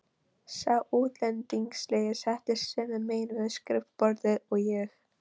Sá útlendingslegi settist sömu megin við skrifborðið og ég.